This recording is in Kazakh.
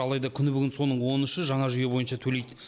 алайда күні бүгін соның он үші жаңа жүйе бойынша төлейді